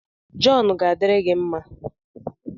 Jọn ga-adịrị gị mma